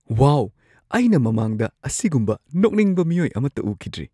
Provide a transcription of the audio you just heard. ꯋꯥꯎ! ꯑꯩꯅ ꯃꯃꯥꯡꯗ ꯑꯁꯤꯒꯨꯝꯕ ꯅꯣꯛꯅꯤꯡꯕ ꯃꯤꯑꯣꯏ ꯑꯃꯠꯇ ꯎꯈꯤꯗ꯭ꯔꯤ!